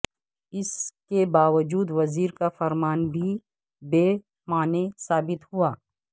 اس کے باوجود وزیر کا فرمان بھی بے معنی ثابت ہوا